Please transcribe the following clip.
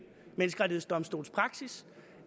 menneskerettighedsdomstols praksis